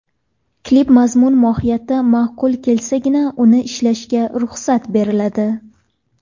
Klip mazmun mohiyati ma’qul kelsagina uni ishlashga ruxsat beriladi.